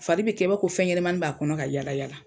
Fari bi kɛ i b'a fɔ fɛnɲɛmani b'a kɔnɔ ka yaala